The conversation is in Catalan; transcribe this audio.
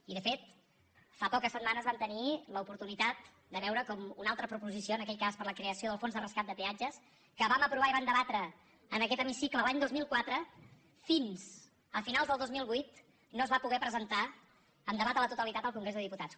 i de fet fa poques setmanes vam tenir l’oportunitat de veure com una altra proposició en aquell cas per a la creació del fons de rescat de peatges que vam aprovar i vam debatre en aquest hemicicle l’any dos mil quatre fins a finals del dos mil vuit no es va poder presentar en debat a la totalitat al congrés dels diputats